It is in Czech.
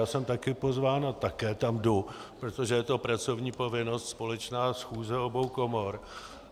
Já jsem taky pozván a také tam jdu, protože je to pracovní povinnost, společná schůze obou komor.